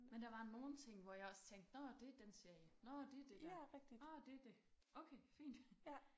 Men der var nogle ting hvor jeg også tænkte nåh det er den serie nåh det er det der nåh det det okay fint